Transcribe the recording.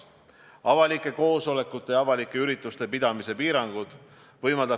Ja juhul, kui meil ei ole neid piisavalt, kas me jõuame neid veel juurde hankida?